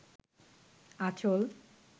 আচঁল